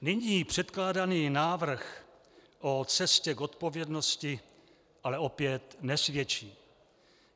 Nyní předkládaný návrh o cestě k odpovědnosti ale opět nesvědčí.